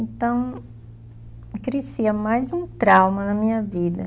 Então, crescia mais um trauma na minha vida.